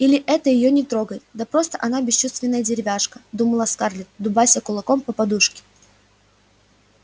или это её не трогает да просто она бесчувственная деревяшка думала скарлетт дубася кулаком по подушке